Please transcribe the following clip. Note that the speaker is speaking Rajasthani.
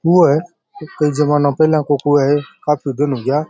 कुओं है कई जमाना पेला को कुओं है काफ़ी दिन होगा।